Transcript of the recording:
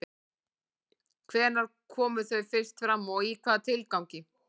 Hvenær komu þau fyrst fram og í hvaða tilgangi?